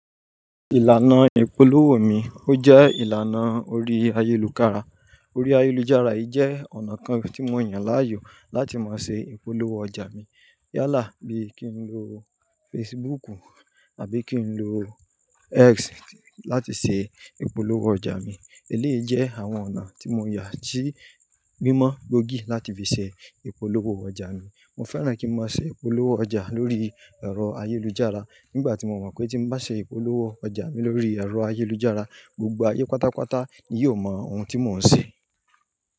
Ìlànà ìpolówó mi, ó jẹ́ ìlànà orí ayélujára. Orí ayélujára yìí jẹ́ ọ̀nà kan tí mo yàn láàyò láti máa ṣe ìpolówó ọjà mi. Yálà bí kí n lo Facebooku àbí kí n lo X láti ṣe ìpolówó ọjà mi, eléèjẹ́ àwọn ọ̀nà tí mo yà tí gbìmọ̀ gboógì láti fi ṣe ìpolówó ọjà mi. Mo fẹ́ràn kí n máa ṣe ìpolówó ọjà lórí ẹ̀rọ ayélujára nígbà tí mo mọ̀ pé tí mo bá ṣe ìpolówó ọjà mi lórí ẹ̀rọ ayélujára, gbogbo ayé pátápátá ni yóò mọ ohun tí mò ń ṣe.